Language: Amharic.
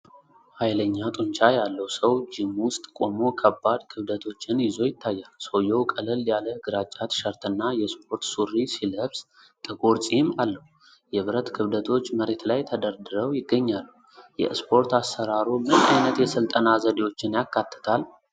ኃይለኛ ጡንቻ ያለው ሰው ጂም ውስጥ ቆሞ ከባድ ክብደቶችን ይዞ ይታያል። ሰውየው ቀለል ያለ ግራጫ ቲሸርትና የስፖርት ሱሪ ሲለብስ ጥቁር ጺም አለው። የብረት ክብደቶች መሬት ላይ ተደርድረው ይገኛሉ። የእስፖርት አሠራሩ ምን አይነት የሥልጠና ዘዴዎችን ያካትታል?